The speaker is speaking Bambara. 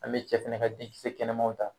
An bɛ cɛ fɛnɛ ka denkisɛ kɛnɛmanw ta.